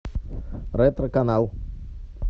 ретро канал